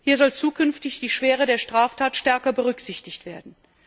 Hier soll zukünftig die Schwere der Straftat stärker berücksichtigt werden.